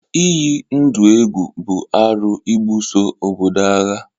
Ịyi ndụ egwu bụ arụ ịbuso obodo agha